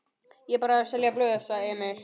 Ég er bara að selja blöð, sagði Emil.